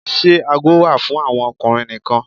Ṣe aago wà fún àwọn ọkùnrin nìkan?